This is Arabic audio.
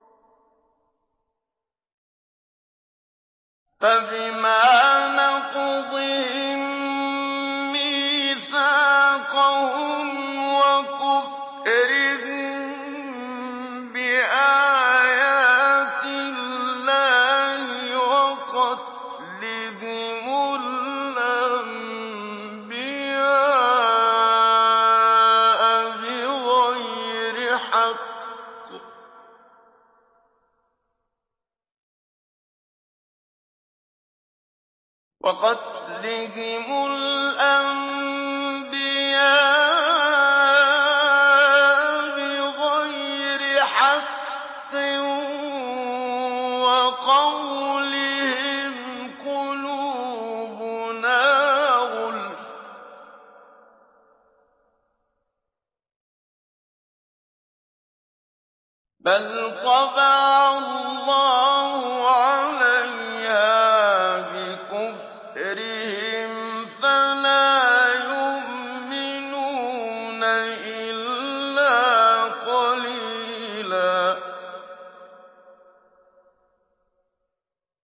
فَبِمَا نَقْضِهِم مِّيثَاقَهُمْ وَكُفْرِهِم بِآيَاتِ اللَّهِ وَقَتْلِهِمُ الْأَنبِيَاءَ بِغَيْرِ حَقٍّ وَقَوْلِهِمْ قُلُوبُنَا غُلْفٌ ۚ بَلْ طَبَعَ اللَّهُ عَلَيْهَا بِكُفْرِهِمْ فَلَا يُؤْمِنُونَ إِلَّا قَلِيلًا